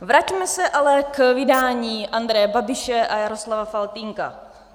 Vraťme se ale k vydání Andreje Babiše a Jaroslava Faltýnka.